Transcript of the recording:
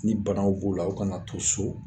Ni banaw b'u la u kana to so